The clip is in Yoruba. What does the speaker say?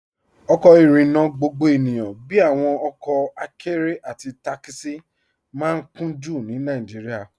Ọkọ irinna gbogbo ènìyàn bíi awọn ọkọ àkẹ̀rẹ̀ àti takisi maa n kùn-jú ní Nàìjíríà.